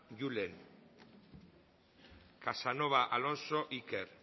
julen casanova alonso iker